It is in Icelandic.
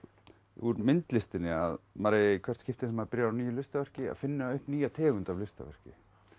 úr myndlistinni að maður eigi í hvert skipti þegar maður byrji á nýju listaverki að finna upp nýja tegund af listaverki